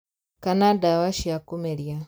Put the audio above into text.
Kana ndawa cia kũmeria